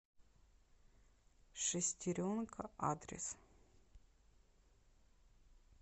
шестеренка адрес